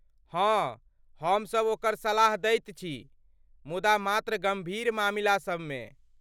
हँ, हमसभ ओकर सलाह दैत छी, मुदा मात्र गम्भीर मामिलासब मे।